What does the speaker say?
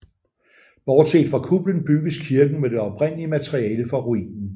Bortset fra kuplen bygges kirken med det oprindelige materiale fra ruinen